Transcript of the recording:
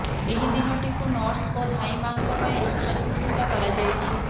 ଏହି ଦିନଟିକୁ ନର୍ସ ଓ ଧାଈ ମାଆଙ୍କ ପାଇଁ ଉତ୍ସର୍ଗୀକୃତ କରାଯାଇଛି